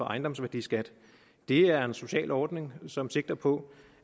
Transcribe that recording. ejendomsværdiskat er en social ordning som sigter på